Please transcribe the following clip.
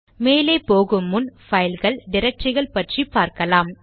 மேலே போகு முன் பைல்கள் டிரக்டரிகள் பற்றி பார்க்கலாம்